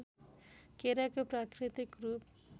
केराको प्राकृतिक रूप